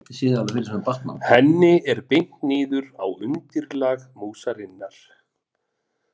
Henni er beint niður á undirlag músarinnar.